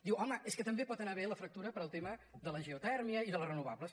diu home és que també pot anar bé la fractura pel tema de la geotèrmia i de les renovables